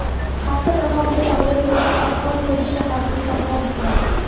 Hafta davomida tog‘li hududlarda qor ko‘chishi xavfi saqlanib turadi.